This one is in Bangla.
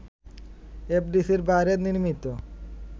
এফডিসির বাইরে নির্মিত